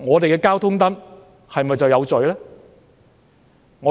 交通燈是否就有罪呢？